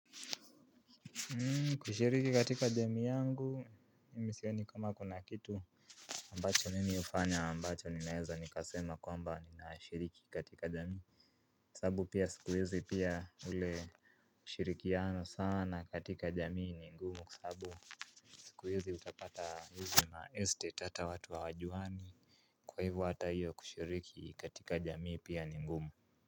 Hmm kushiriki katika jamii yangu mi sioni kama kuna kitu ambacho mimi hufanya ambacho ninaeza nikasema kwamba ninashiriki katika jamii. Kwa sababu pia sikuizi pia ule ushirikiano sana katika jamii ni ngumu kwa sababu sikuizi utapata hizo ma estate hata watu hawajuani. Kwa hivyo hata hiyo kushiriki katika jamii pia ni ngumu.